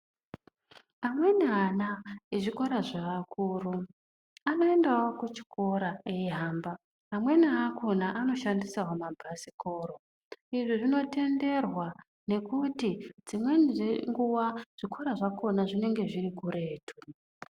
Amweni ana ezvikora zveakuru, anoendawo kuchikora eihamba, amweni akhona anoshandisawo mabhasikoro. Izvi zvinotenderwa nekuti dzimweni dzenguwa zvikora zvakhona zvinenge zviri kuretu.